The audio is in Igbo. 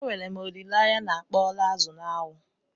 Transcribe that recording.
E nwere m olile anya na akpọọla azụ n'anwụ?